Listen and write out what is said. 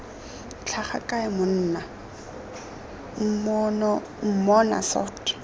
tlhaga kae monna mmona soft